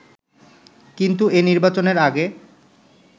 কিন্তু এ নির্বাচনের আগে